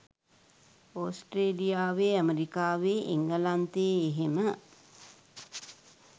ඔස්ට්‍රේලියාවේ ඇමරිකාවේ එංගලන්තයේ එහෙම